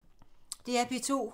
DR P2